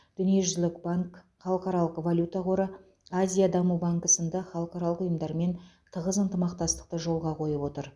дүниежүзілік банк халықаралық валюта қоры азия даму банкі сынды халықаралық ұйымдармен тығыз ынтымақтастықты жолға қойып отыр